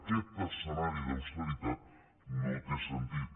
aquest escenari d’austeritat no té sentit